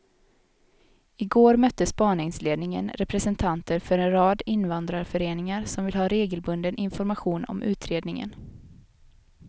I går mötte spaningsledningen representanter för en rad invandrarföreningar som vill ha regelbunden information om utredningen.